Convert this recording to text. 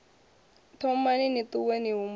thomani ni ṱuwe ni humbule